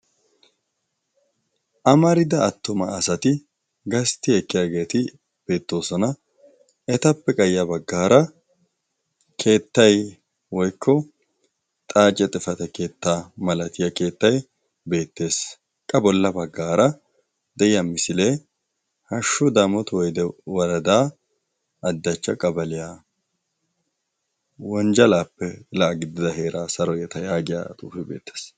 Amarida attoma asati gastti ekkiyaageeti beettoosona etappe qayiya baggaara keettai woikko xaace xifata keettaa malatiyaa keettay beettees. qa bolla baggaara de'iya misilee hashshu daamotu woyde woradaa addachcha qabaliyaa wonjjalaappe la'a giddida heeraa saro yeta yaagiya xuufe beettees.